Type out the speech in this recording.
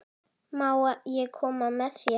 Má ég koma með þér?